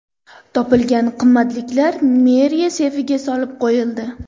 Topilgan qimmatliklar meriya seyfiga solib qo‘yildi.